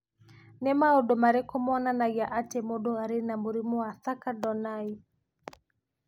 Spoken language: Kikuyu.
Nĩ maũndũ marĩkũ monanagia atĩ mũndũ arĩ na mũrimũ wa Thakker Donnai?